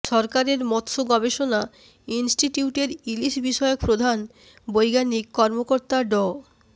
সরকারের মৎস্য গবেষণা ইন্সটিটিউটের ইলিশ বিষয়ক প্রধান বৈজ্ঞানিক কর্মকর্তা ড